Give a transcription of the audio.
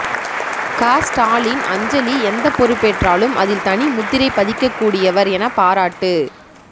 க ஸ்டாலின் அஞ்சலி எந்த பொறுப்பேற்றாலும் அதில் தனி முத்திரை பதிக்க கூடியவர் என பாராட்டு